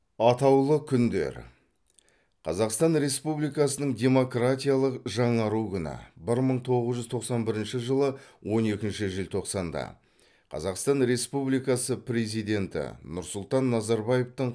атаулы күндер қазақстан республикасының демократиялық жаңару күні бір мың тоғыз жүз тоқсан бірінші жылы он екінші желтоқсанда қазақстан республикасы президенті нұрсұлтан назарбаевтың